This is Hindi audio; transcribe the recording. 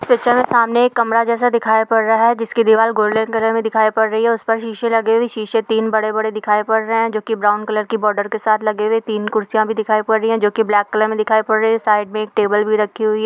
इस पिक्चर में सामने एक कमरा जैसा दिखाई पड़ रहा है जिसकी दीवार गोल्डेन कलर में दिखाई पड़ रही है उस पर शीशे लगे हुए हैं शीशे तीन बड़े-बड़े दिखाई पड़ रहें हैं जो की ब्राउन कलर की बार्डर के साथ लगे हुए तीन कुर्सियाँ भी दिखाई पड़ रही है जो की ब्लैक कलर में दिखाई पड़ रही है साइड में एक टेबल भी रखी हुई है।